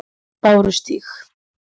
Bárustíg